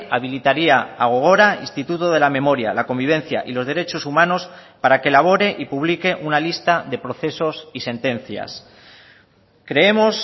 habilitaría a gogora instituto de la memoria la convivencia y los derechos humanos para que elabore y publique una lista de procesos y sentencias creemos